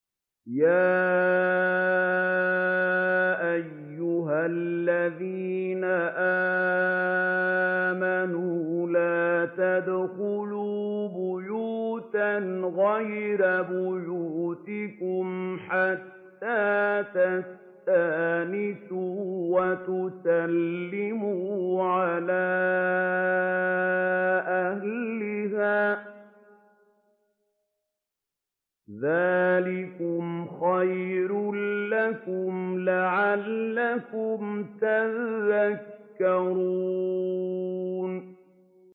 يَا أَيُّهَا الَّذِينَ آمَنُوا لَا تَدْخُلُوا بُيُوتًا غَيْرَ بُيُوتِكُمْ حَتَّىٰ تَسْتَأْنِسُوا وَتُسَلِّمُوا عَلَىٰ أَهْلِهَا ۚ ذَٰلِكُمْ خَيْرٌ لَّكُمْ لَعَلَّكُمْ تَذَكَّرُونَ